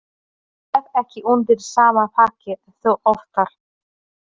Ég sef ekki undir sama þaki og þú oftar.